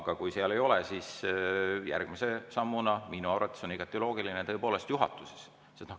Aga kui seal ei ole, siis järgmise sammuna on minu arvates igati loogiline tõepoolest juhatuses seda arutada.